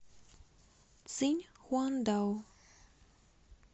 циньхуандао